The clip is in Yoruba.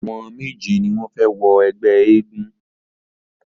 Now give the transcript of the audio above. Àwọn méje ni wọ́n fẹ wọ ẹgbẹ́ eégún.